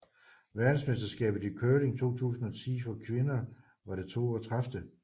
Verdensmesterskabet i curling 2010 for kvinder var det 32